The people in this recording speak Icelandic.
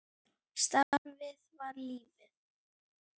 Starfið var lífið.